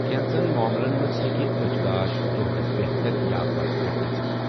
كینژن معملن منٛز ہیٚکہِ اچھِ گاش دوہلہِ بہتر یا بدتر گٔژِھتھ۔